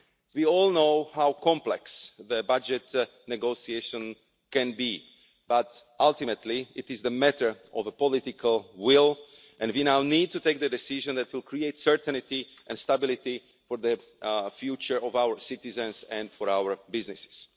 We all know how complex the budget negotiation can be, but ultimately it is a matter of political will and we now need to take the decision that will create certainty and stability for the future of our citizens and for our businesses.